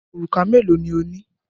Òrùka mélòó ni ó ní?